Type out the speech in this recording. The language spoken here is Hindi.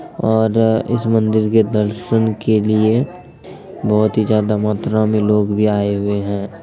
और इस मंदिर के दर्शन के लिए बहुत ही ज्यादा मात्रा मे लोग भी आए हुए हैं।